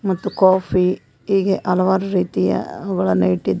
ಮತ್ತು ಕಾಫಿ ಹೇಗೆ ಹಲವಾರು ರೀತಿಯ ಗಳನ್ನು ಇಟ್ಟಿದ --